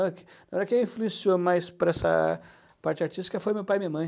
que quem influenciou mais para essa parte artística foi meu pai e minha mãe.